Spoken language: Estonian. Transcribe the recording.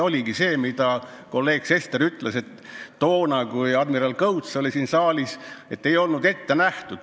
Nagu kolleeg Sester ütles, et toona, kui admiral Kõuts oli siin saalis, ei olnud erandid ette nähtud.